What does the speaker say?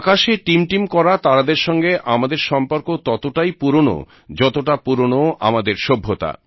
আকাশে টিমটিম করা তারাদের সঙ্গে আমাদের সম্পর্ক ততটাই পুরনো যতটা পুরনো আমাদের সভ্যতা